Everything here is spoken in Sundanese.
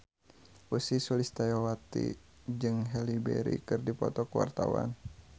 Ussy Sulistyawati jeung Halle Berry keur dipoto ku wartawan